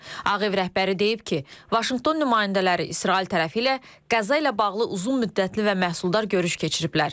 Ağ Ev rəhbəri deyib ki, Vaşinqton nümayəndələri İsrail tərəfi ilə Qəzza ilə bağlı uzun müddətli və məhsuldar görüş keçiriblər.